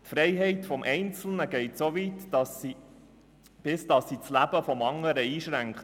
Die Freiheit des Einzelnen geht so weit, bis sie das Leben des anderen einschränkt.